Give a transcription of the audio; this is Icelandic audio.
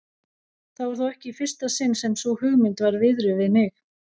Það var þó ekki í fyrsta sinn sem sú hugmynd var viðruð við mig.